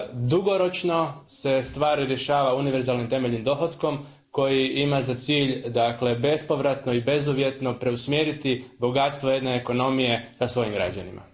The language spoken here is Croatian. Dugoročno se stvar rješava univerzalnim temeljnim dohotkom koji ima za cilj, dakle, bespovratno i bezuvjetno preusmjeriti bogatstvo jedne ekonomije k svojim građanima.